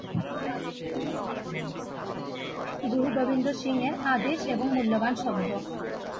গুরু গোবিন্দ সিং এর আদেশ এবং মূল্যবান শব্দ